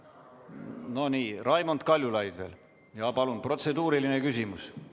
No nii, Raimond Kaljulaidil on veel protseduuriline küsimus.